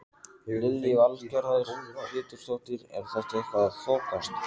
Lillý Valgerður Pétursdóttir: Er þetta eitthvað að þokast?